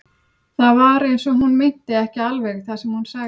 Það var eins og hún meinti ekki alveg það sem hún sagði.